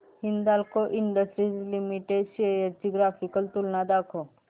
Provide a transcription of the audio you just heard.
Hindalco industries limited shares ची graphical तुलना दाखव